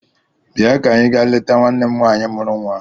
Bịa ka anyị ga leta nwanne m nwaanyị mụrụ nnwa!